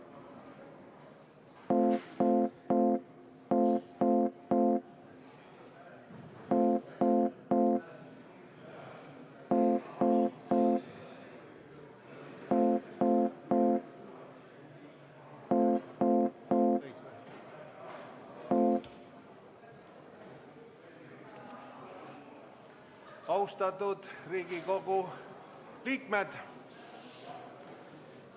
Austatud Riigikogu liikmed!